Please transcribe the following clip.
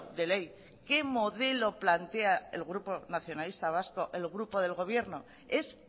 de ley qué modelo plantea el grupo nacionalistas vascos el grupo del gobierno es